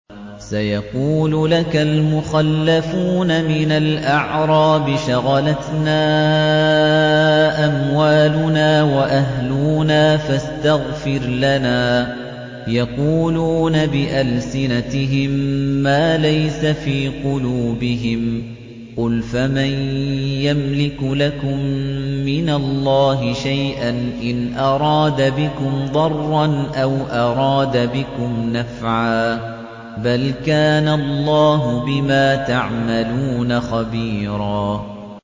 سَيَقُولُ لَكَ الْمُخَلَّفُونَ مِنَ الْأَعْرَابِ شَغَلَتْنَا أَمْوَالُنَا وَأَهْلُونَا فَاسْتَغْفِرْ لَنَا ۚ يَقُولُونَ بِأَلْسِنَتِهِم مَّا لَيْسَ فِي قُلُوبِهِمْ ۚ قُلْ فَمَن يَمْلِكُ لَكُم مِّنَ اللَّهِ شَيْئًا إِنْ أَرَادَ بِكُمْ ضَرًّا أَوْ أَرَادَ بِكُمْ نَفْعًا ۚ بَلْ كَانَ اللَّهُ بِمَا تَعْمَلُونَ خَبِيرًا